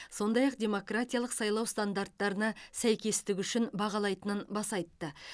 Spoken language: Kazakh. сондай ақ демократиялық сайлау стандарттарына сәйкестігі үшін бағалайтынын баса айтты